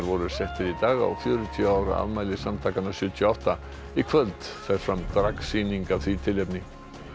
voru settir í dag á fjörutíu ára afmæli samtakanna sjötíu og átta í kvöld fer fram dragsýning af því tilefni